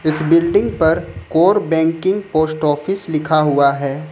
इस बिल्डिंग पर core banking post office लिखा हुआ है।